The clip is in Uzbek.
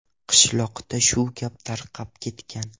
Qishloqda shu gap tarqab ketgan.